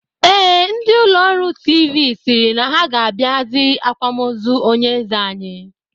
Ee, ndị ụlọọrụ tiivii sịrị na ha ga-abịa see akwamozu onyeeze anyi